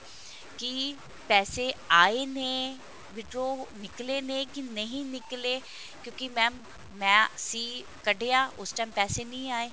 ਕਿ ਪੈਸੇ ਆਏ ਨੇ withdraw ਨਿਕਲੇ ਨੇ ਕੇ ਨਹੀਂ ਨਿਕਲੇ ਕਿਉਂਕਿ mam ਮੈਂ ਅਸੀਂ ਕੱਢਿਆ ਉਸ time ਪੈਸੇ ਨਹੀਂ ਆਏ